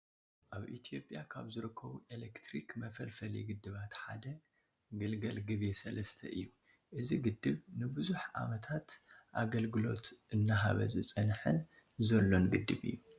አብ ኢትየጵያ ካብ ዝርከቡ ኤሌትሪክ መፍልፈሊ ግደባት ሓደ ገልገል ግቤ 3 እዩ ። እዚ ግደብ ንቡዙሕ ዓመታት አገልግሎት አናሃበ ዝፀንሐን ዘሎን ግደብ እዩ ።